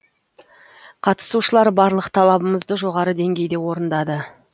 қатысушылар барлық талабымызды жоғары деңгейде орындады